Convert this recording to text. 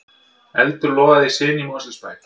Eldur logar í sinu í Mosfellsbæ